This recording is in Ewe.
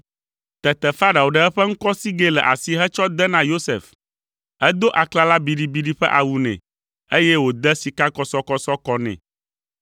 Tete Farao ɖe eƒe ŋkɔsigɛ le asi hetsɔ de na Yosef; edo aklala biɖibiɖi ƒe awu nɛ, eye wòde sikakɔsɔkɔsɔ kɔ nɛ.